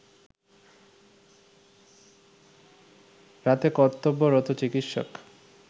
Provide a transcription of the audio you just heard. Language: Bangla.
রাতে কর্তব্যরত চিকিৎসক